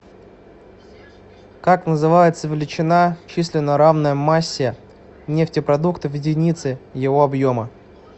как называется величина численно равная массе нефтепродукта в единице его объема